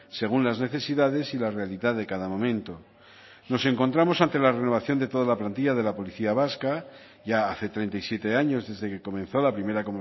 según las necesidades y la realidad de cada momento nos encontramos ante la renovación de toda la plantilla de la policía vasca ya hace treinta y siete años desde que comenzó la primera